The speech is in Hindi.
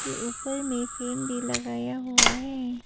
ऊपर में फैन भी लगाया हुआ है।